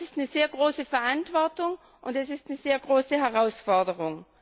Das ist eine sehr große Verantwortung, und es ist eine sehr große Herausforderung.